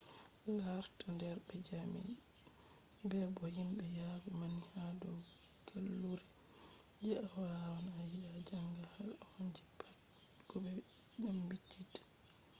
larta der be jami’a bebo himbe yadu panni ha dow gallure je awawan a yida a janga had on je pat ko be dambittita